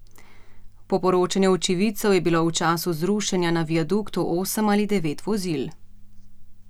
Po poročanju očividcev je bilo v času zrušenja na viaduktu osem ali devet vozil.